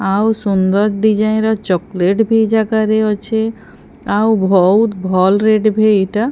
ଆଉ ସୁନ୍ଦର ଡିଜାଇନ ର ଚକଲେଟ ଵି ଏଇ ଜାଗାରେ ଅଛି ଆଉ ବହୁତ ଭଲ ରେଟ ଵି ଏଇଟା।